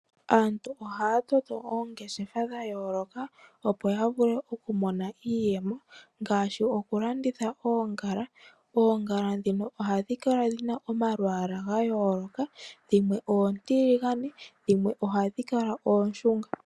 Aantu ohaa toto oongeshefa dhayooloka opo ya vule okumona iiyemo ngaashi okulanditha oongala ,oongala dhimwe ohadhi kala dhina omalwaala gayooloka dhimwe oontiligane dhimwe ohadhi kala ooshunga.